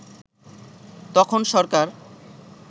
তখন সরকার